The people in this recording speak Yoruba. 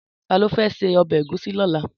Tàló fè sé òbè égúsì lòlá?